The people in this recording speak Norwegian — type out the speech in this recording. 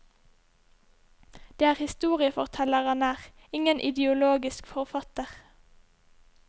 Det er historieforteller han er, ingen ideologisk forfatter.